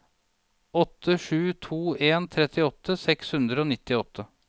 åtte sju to en trettiåtte seks hundre og nittiåtte